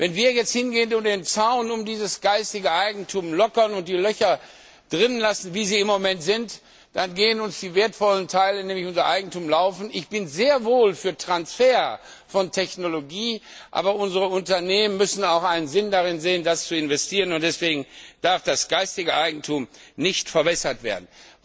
Wenn wir jetzt hingehen und den Zaun um dieses geistige Eigentum lockern und die Löcher drin lassen, wie sie im Moment sind, dann kommen uns die wertvollen Teile, nämlich unser Eigentum, abhanden. Ich bin sehr wohl für den Transfer von Technologie, aber unsere Unternehmen müssen auch einen Sinn darin sehen, das zu investieren, und deswegen darf das geistige Eigentum nicht verwässert werden.